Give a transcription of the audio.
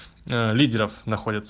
лидеров